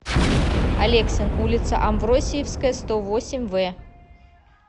алексин улица амвросиевская сто восемь в